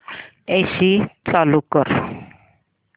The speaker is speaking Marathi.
एसी चालू कर